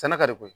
Sɛnɛ ka di koyi